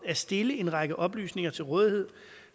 at stille en række oplysninger til rådighed